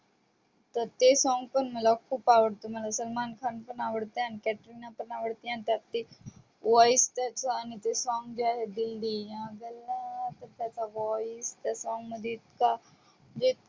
तर ते song मला जाम आवडते word मला सलमान खान पण आवडते आणि कतरिना पण आवडते त्याचे आणि जे song दिल दिया गल्ला त्याच तो voice त्या song मध्ये जे